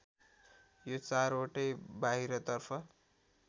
यो चारवटै बाहिरतर्फ